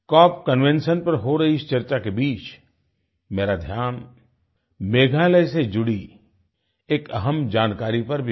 corp convention पर हो रही इस चर्चा के बीच मेरा ध्यान मेघालय से जुडी एक अहम् जानकारी पर भी गया